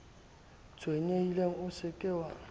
tshwenyehile o se ke wa